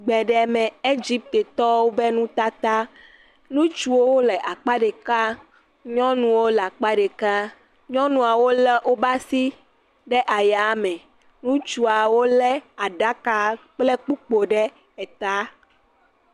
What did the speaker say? Gbeɖeme Egiptetɔwo ƒe nutata. Ŋutsuawo le akpa ɖeka, nyɔnuawo le akpe ɖeka. Nyɔnuawo wo le wobe asi ɖe aya me. Ŋutsuawo le aɖaka kple kpukpoewo ɖe eta.